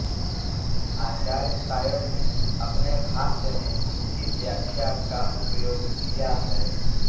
आचार्य सायण ने अपने भाष्य में इनकी व्याख्या का उपयोग किया है